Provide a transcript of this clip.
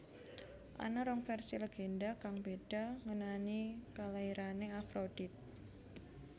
Ana rong vèrsi lègendha kang béda ngenani kalairané Afrodit